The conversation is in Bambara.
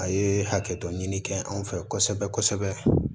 A ye hakɛ dɔ ɲini kɛ anw fɛ kosɛbɛ kosɛbɛ